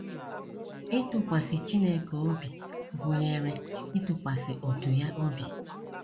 Ịtụkwasị Chineke obi gụnyere ịtụkwasị òtù ya obi.